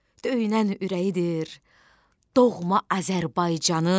Döynən ürəyidir doğma Azərbaycanın.